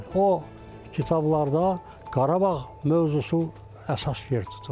O kitablarda Qarabağ mövzusu əsas yer tutur.